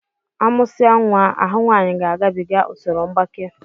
A mụsia nwa, ahụ nwaanyi ga-agabiga usoro mgbaké